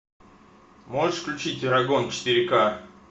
можешь включить эрагон четыре ка